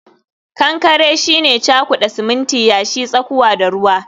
kankare shine cakuda siminti, yashi, tsakuwa da ruwa